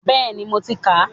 Bẹ́ẹ̀ni mo ti kà á